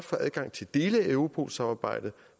få adgang til dele af europol samarbejdet